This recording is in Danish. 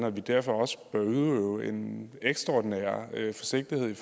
og vi derfor også bør udøve en ekstraordinær forsigtighed